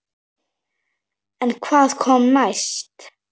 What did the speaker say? En hvað kom næst?